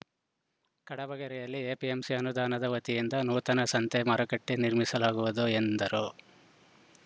ಕಡಬಗೆರೆಯಲ್ಲಿ APMC ಅನುದಾನದ ವತಿಯಿಂದ ನೂತನ ಸಂತೆ ಮಾರುಕಟ್ಟೆನಿರ್ಮಿಸಲಾಗುವುದು ಎಂದರು